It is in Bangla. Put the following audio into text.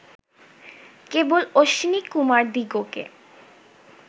কেবল অশ্বিনীকুমারদিগকে